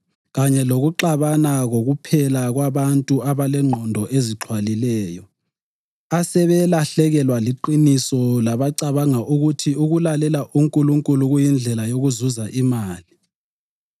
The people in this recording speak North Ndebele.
kanye lokuxabana kokuphela kwabantu abalengqondo ezixhwalileyo, asebalahlekelwa liqiniso labacabanga ukuthi ukulalela uNkulunkulu kuyindlela yokuzuza imali.